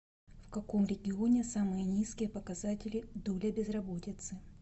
в каком регионе самые низкие показатели доля безработицы